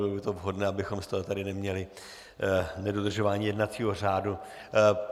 Bylo by to vhodné, abychom z toho tady neměli nedodržování jednacího řádu.